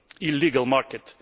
illegal market.